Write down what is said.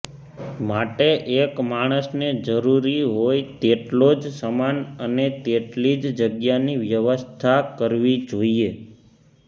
માટે એક માણસને જરૂરી હોય તેટલો જ સામાન અને તેટલી જ જગ્યાની વ્યવસ્થા કરવી જોઈએ